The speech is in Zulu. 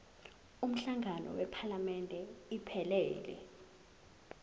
umhlangano wephalamende iphelele